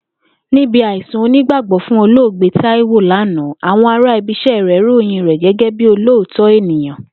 Níbi àìsùn onígbàgbó̩ fún olóògbé Táíwò lánàá, àwo̩n ara ibi is̩é̩ rè̩ ròyìn rè̩ gé̩gé̩ olóòótó̩ ènìyàn